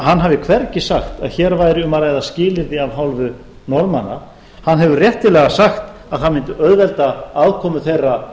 að hann hafi hvergi sagt að hér væri um að ræða skilyrði af hálfu norðmanna hann hefur réttilega sagt að það mundi auðvelda aðkomu þeirra